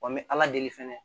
Wa n bɛ ala deli fɛnɛ